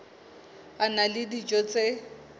a na le dijo tse